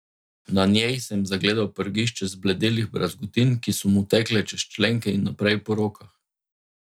Na njej sem zagledal prgišče zbledelih brazgotin, ki so mu tekle čez členke in naprej po rokah.